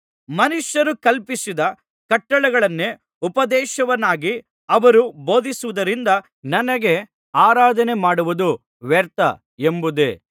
ಮನುಷ್ಯರು ಕಲ್ಪಿಸಿದ ಕಟ್ಟಳೆಗಳನ್ನೇ ಉಪದೇಶವನ್ನಾಗಿ ಅವರು ಬೋಧಿಸುವುದರಿಂದ ನನಗೆ ಆರಾಧನೆ ಮಾಡುವುದು ವ್ಯರ್ಥ ಎಂಬುದೇ